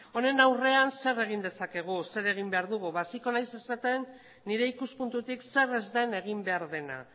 honen aurrean zer egin dezakegu zer egin behar dugu hasiko naiz esaten nire ikuspuntutik zer ez den egin behar dena